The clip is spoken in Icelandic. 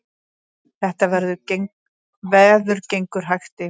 Þetta veður gengur hægt yfir